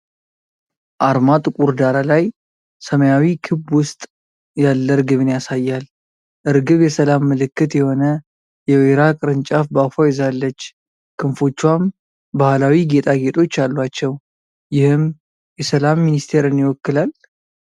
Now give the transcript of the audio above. አርማ ጥቁር ዳራ ላይ ሰማያዊ ክብ ውስጥ ያለ እርግብን ያሳያል። እርግብ የሰላም ምልክት የሆነ የወይራ ቅርንጫፍ በአፏ ይዛለች፣ ክንፎቿም ባህላዊ ጌጣጌጦች አሏቸው፤ ይህም የሰላም ሚኒስቴርን ይወክላል?